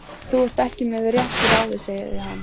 Þú ert ekki með réttu ráði, sagði hann.